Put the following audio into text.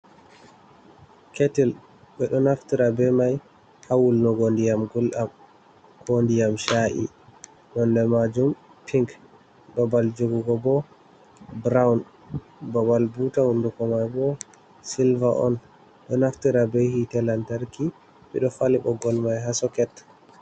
Ketil be do naftira be mai hawul nugo diyam guldam ko diyam sha’i ,nonde majum pink babal jogugo bo brown babal buta hunduko mai bo silver on do naftira be hitelantarki bido fali bo gol mai ha soket.